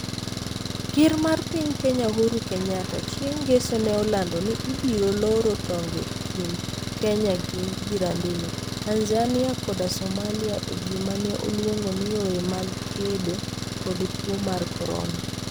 Ker mar piny Kenya Uhuru Kenyatta, chieng ngeso ne olando ni ibiro loro tong'e e kind kenya gi jirandene, Tanzania koda Somalia, e gima ne oluongo ni ' yore mag kedo kod tuo mar corona